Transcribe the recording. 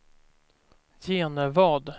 Genevad